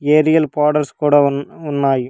ఏడియల్ powders కూడా ఉన్ ఉన్నాయి.